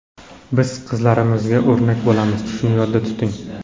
Biz qizlarimizga o‘rnak bo‘lamiz, shuni yodda tuting.